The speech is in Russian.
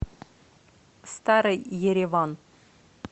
старый ереван